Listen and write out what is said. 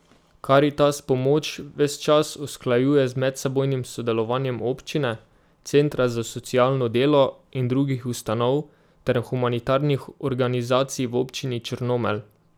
Karitas pomoč ves čas usklajuje z medsebojnim sodelovanjem občine, centra za socialno delo in drugih ustanov ter humanitarnih organizacij v občini Črnomelj.